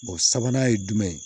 sabanan ye jumɛn ye